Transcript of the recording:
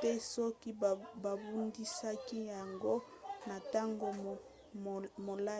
te soki babundisaki yango na ntango molai